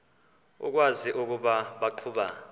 ukwazi ukuba baqhuba